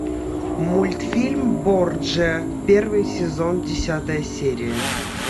мультфильм борджиа первый сезон десятая серия